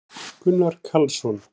gunnar karlsson